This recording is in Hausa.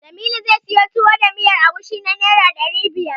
Jamilu zai siyo Tuwo da miyar agushi na Naira ɗari biyar.